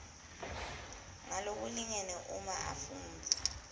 ngalokulingene uma afundza